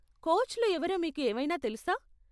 కోచ్లు ఎవరో మీకు ఏమైనా తెలుసా ?